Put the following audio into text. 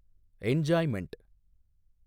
enjoyment